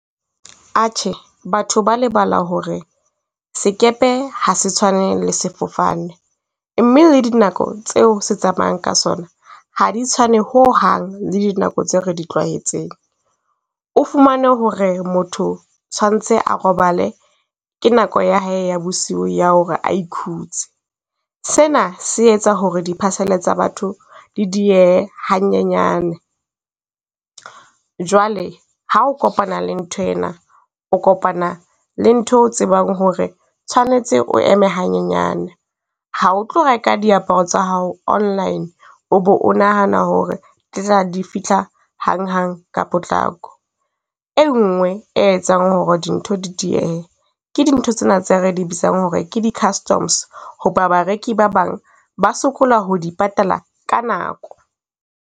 Atjhe, batho ba lebala ho re sekepe ha se tshwane le sefofane, mme le dinako tseo se tsamayang ka sona ha di tshwane ho hang, le dinako tseo re di tlwaetseng. O fumane ho re motho tshwantse a robale, ke nako ya hae ya bosiu ya ho re a ikhutse. Se na se etsa ho re di parcel-e tsa batho le diehe hanyenyane. Jwale ha o kopana le ntho ena, o kopana le ntho e o tsebang ho re tshwanetse o eme hanyenyana. Ha o tlo reka diaparo tsa hao online, o bo o nahana ho re di fihla hang hang ka potlako. E ngwe e etsang ho re dintho di diehehe, ke dintho tsena tse re di bitsang hore ke di customs. Ho ba bareki ba bang ba sokola ho di patala ka nako.